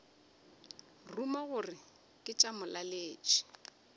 ruma gore ke tša molaletši